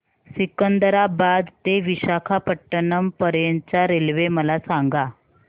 सिकंदराबाद ते विशाखापट्टणम पर्यंत च्या रेल्वे मला सांगा